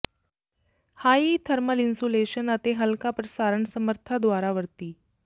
high thermal insulation ਅਤੇ ਹਲਕਾ ਪ੍ਰਸਾਰਣ ਸਮਰੱਥਾ ਦੁਆਰਾ ਵਰਤੀ